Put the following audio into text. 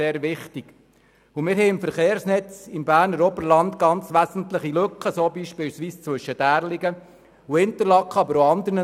Wir haben im Verkehrsnetz im Berner Oberland ganz wesentliche Lücken, unter anderem zwischen Därligen und Interlaken.